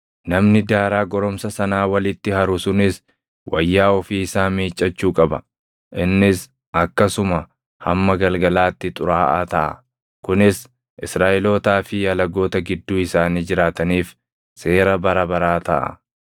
Namni daaraa goromsa sanaa walitti haru sunis wayyaa ofii isaa miiccachuu qaba; innis akkasuma hamma galgalaatti xuraaʼaa taʼa. Kunis Israaʼelootaa fi alagoota gidduu isaanii jiraataniif seera bara baraa taʼa.